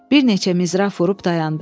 Bir neçə mizraf vurub dayandı.